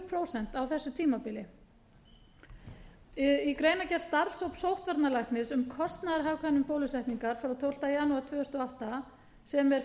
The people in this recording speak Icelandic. prósent á þessu tímabili í greinargerð starfshóps sóttvarnalæknis um kostnaðarhagkvæmni bólusetningar frá tólftu janúar tvö þúsund og átta sem er